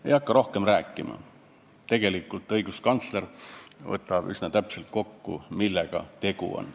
Ma ei hakka rohkem rääkima, tegelikult riigikontrolör võtab üsna täpselt kokku, millega tegu on.